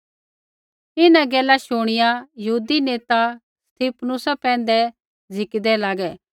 इन्हां गैला शुणिआ यहूदी नेता स्तिफनुसा पैंधै झ़िकिदै लागै